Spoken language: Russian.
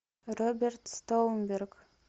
роберт стоунберг